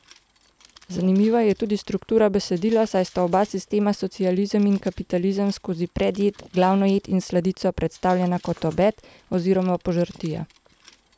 Zanimiva je tudi struktura besedila, saj sta oba sistema, socializem in kapitalizem, skozi predjed, glavno jed in sladico, predstavljena kot obed oziroma požrtija.